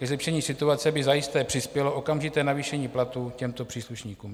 Ke zlepšení situace by zajisté přispělo okamžité navýšení platů těmto příslušníkům.